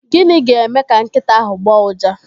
Gịnị ga-eme ka nkịta ahụ agbọọ uja?